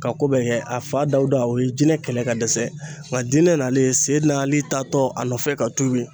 Ka ko bɛɛ kɛ a fa Dawuda o ye jinɛ kɛlɛ ka dɛsɛ, nka dinɛ n'alen, seyidina Ali taa tɔ a nɔfɛ ka tuubi.